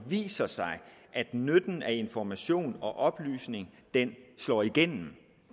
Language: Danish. viser sig at nytten af information og oplysning slår igennem